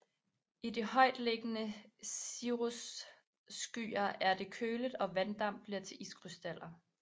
I de højt liggende cirrusskyer er det køligt og vanddamp bliver til iskrystaller